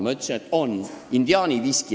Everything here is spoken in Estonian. Ma ütlesin, et on: indiaani viski.